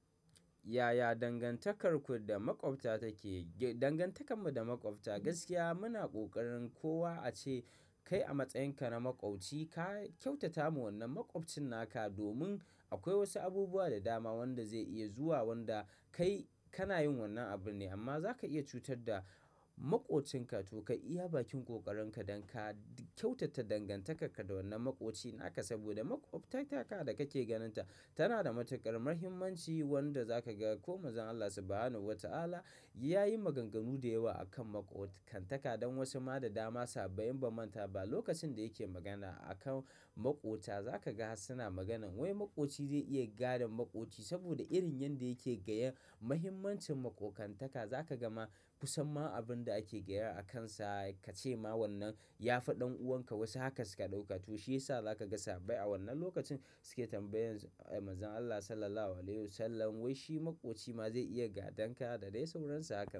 Yaya dangantakarku da maƙwabta take? Dangantakarmu da maƙwabta gaskiya muna kokarin kowa a ce kai a matsayinka na maƙwauci ka kyautata wa wannan maƙwabcin naka domin akwai wasu abubuwa da dama wanda zai iya zuwa wanda kai kana yin wannan abun ne amma za ka iya cutar da maƙwabcinka to kai iya bakin ƙoƙarinka don ka kyautata dangantakarka da wannan maƙwabcinka saboda maƙwabtaka da kake ganinta tana da matuƙar mahimmanci wanda za ka ga ko mazan Allah Subhanahu wa Ta'ala ya yi maganganu da yawa akan maƙoƙantaka don wasu ma da dama sahabbbai ba manta ba lokacin da yake magana akan maƙota za ka ga suna maganan wai maƙoci zai iya gadon maƙoci saboda irin yanda yake gaya muhimmancin maƙoƙantaka za ka gama ku san ma abun da ake gaya akansa ka ce ma wannan ya fa ɗan'uwanka wasu haka suka ɗauka to shi yasa za ka ga sahabbai a wannan lokacin suke tambayan mazan Allah Sallallahu Alaihi Wasallam wai shi maƙoci ma zai iya gadon ka da dai sauransa hakan.